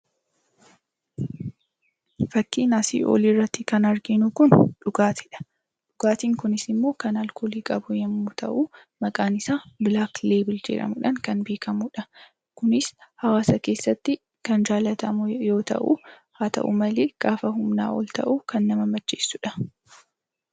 Fakkii asii olii irratti kan arginu kun dhugaatiidha. Dhugaatiin kunis immoo kan alkoolii qabu yemmuu ta'u, maqaan isaa 'black label ' jedhamuudhaan kan beekamuudha. Kunis hawaasa keessatti kan jaallatamu yoo ta'u, haa ta'u malee, gaafa humnaa ol ta'u kan nama macheessuudha.